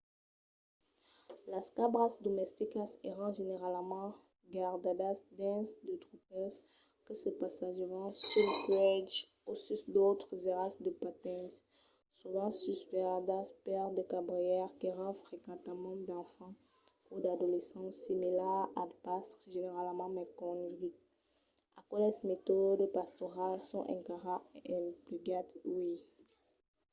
las cabras domesticas èran generalament gardadas dins de tropèls que se passejavan suls puèges o sus d'autres airal de pastenc sovent susvelhadas per de cabrièrs qu'èran frequentament d'enfants o d'adolescents similars als pastres generalament mai coneguts. aqueles metòdes pastorals son encara emplegats uèi